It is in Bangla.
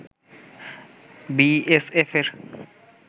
B S এফের